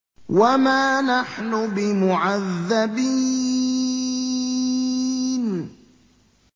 وَمَا نَحْنُ بِمُعَذَّبِينَ